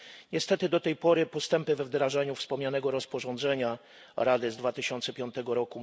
Niestety do tej pory postępy we wdrażaniu wspomnianego rozporządzenia Rady z 2005 r.